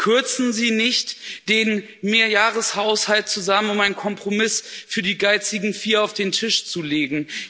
Kürzen Sie nicht den Mehrjahreshaushalt zusammen, um einen Kompromiss für die geizigen Vier auf den Tisch zu legen.